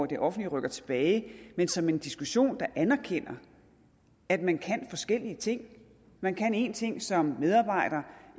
det offentlige rykker tilbage men som en diskussion der anerkender at man kan forskellige ting man kan en ting som medarbejder